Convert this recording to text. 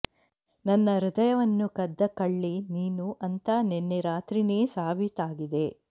ನನ್ನ ಹೃದಯವನ್ನು ಕದ್ದ ಕಳ್ಳಿ ನೀನು ಅಂತಾ ನೆನ್ನೆ ರಾತ್ರೀನೇ ಸಾಬೀತಾಗಿದೆ